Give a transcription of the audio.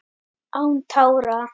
Án tára